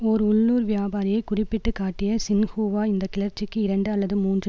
ஓர் உள்ளூர் வியாபாரியை குறிப்பிட்டு காட்டிய சின்ஹூவா இந்த கிளர்ச்சிக்கு இரண்டு அல்லது மூன்று